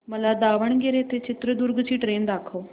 मला दावणगेरे ते चित्रदुर्ग ची ट्रेन दाखव